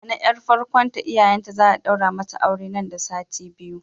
Nana yar farkon ta iyayenta za'a daura mata aure nan da sati biyu.